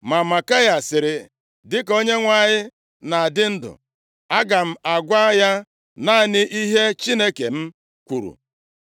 Ma Maikaya sịrị, “Dịka Onyenwe anyị na-adị ndụ, aga m agwa ya naanị ihe Chineke m kwuru.”